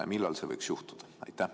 Ja millal see võiks juhtuda?